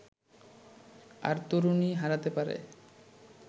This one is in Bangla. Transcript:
আর তরুণী হারাতে পারে